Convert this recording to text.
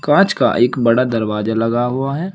कांच का एक बड़ा दरवाजा लगा हुआ है।